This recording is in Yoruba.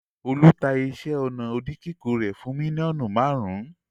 Olú ta iṣẹ́-ọnà oníkíkùn rẹ̀ fún mílíọ̀nù márùn-ún?